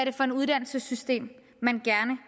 er for et uddannelsessystem man gerne